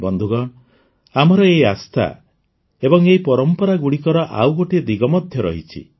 ବନ୍ଧୁଗଣ ଆମର ଏହି ଆସ୍ଥା ଏବଂ ଏହି ପରମ୍ପରାଗୁଡ଼ିକର ଆଉ ଗୋଟିଏ ଦିଗ ମଧ୍ୟ ରହିଛି